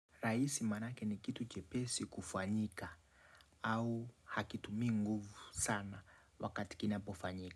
Rahisi maanake ni kitu chepesi kufanyika. Au hakitu miinguvu sana wakati kina pofanyika.